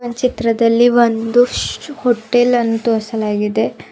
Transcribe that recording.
ಚಿತ್ರದಲ್ಲಿ ಒಂದು ಶ ಹೋಟೆಲ್ ಅನ್ನು ತೋರಿಸಲಾಗಿದೆ.